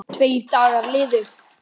Tveir dagar liðu.